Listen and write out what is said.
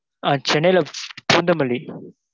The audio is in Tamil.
ஆ சென்னையில பூந்தமல்லி,